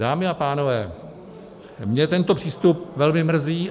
Dámy a pánové, mě tento přístup velmi mrzí.